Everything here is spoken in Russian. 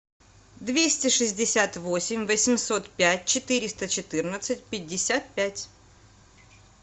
двести шестьдесят восемь восемьсот пять четыреста четырнадцать пятьдесят пять